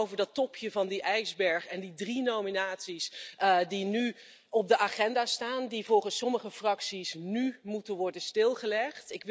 Dus niet over dat topje van die ijsberg en die drie nominaties die nu op de agenda staan, die volgens sommige fracties nu moeten worden stilgelegd.